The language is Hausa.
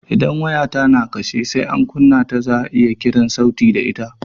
Idan waya ta na kashe, sai an kunna ta sannan za'a iya kiran sauti da ita